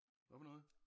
Hvad for noget?